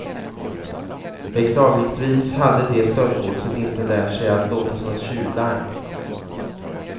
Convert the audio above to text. Beklagligtvis hade det stöldgodset inte lärt sig att låta som ett tjuvlarm.